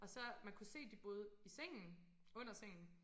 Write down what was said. Og så man kunne se de boede i sengen under sengen